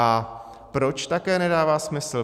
A proč také nedává smysl?